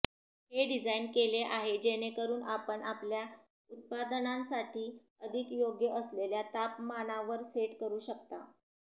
हे डिझाइन केले आहे जेणेकरून आपण आपल्या उत्पादनांसाठी अधिक योग्य असलेल्या तापमानावर सेट करू शकता